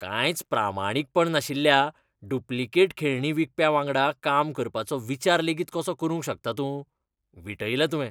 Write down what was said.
कांयच प्रामाणीकपण नाशिल्ल्या डुप्लिकेट खेळणीं विकप्यांवांगडा काम करपाचो विचार लेगीत कसो करूंक शकता तूं? विटयलें तुवें.